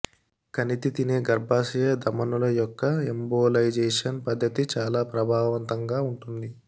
కణితి తినే గర్భాశయ ధమనుల యొక్క ఎంబోలైజేషన్ పద్ధతి చాలా ప్రభావవంతంగా ఉంటుంది